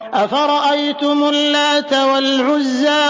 أَفَرَأَيْتُمُ اللَّاتَ وَالْعُزَّىٰ